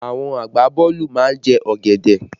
Àwọn agbaboolu má ń jẹ ọ̀gẹ̀dẹ̀